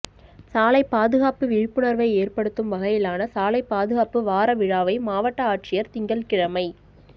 சாலைப் பாதுகாப்பு விழிப்புணா்வை ஏற்படுத்தும் வகையிலான சாலைப் பாதுகாப்பு வார விழாவை மாவட்ட ஆட்சியா் திங்கள்கிழமை